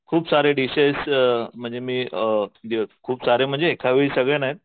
खूप सारे डिशेश म्हणजे मी अ खुपसारे म्हणजे एकावेळी सगळे नाहीत.